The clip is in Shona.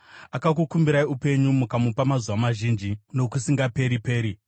Akakukumbirai upenyu, mukamupa mazuva mazhinji, nokusingaperi-peri.